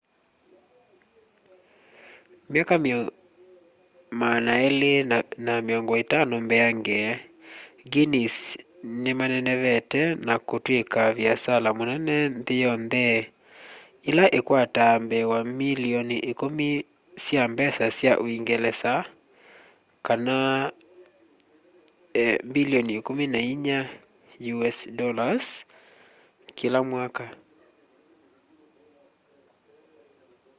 myaka 250 mbeange guinness nĩmanenevete na kũtwĩka vĩasala mũnene nthĩ yontheĩla ĩkwataa mbee wa mbilioni 10 sya mbesa sya ũngelesa us dollars 14.7 mbilioni kĩla mwaka